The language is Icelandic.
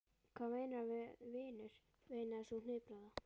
Hvað meinarðu með vinur? veinaði sú hnipraða.